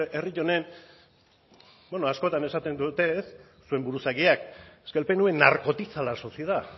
bueno es que herri honen bueno askotan esaten dute ez zuen buruzagiak es que el pnv narcotiza la sociedad